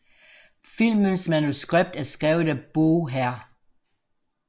Filmens manuskript er skrevet af Bo Hr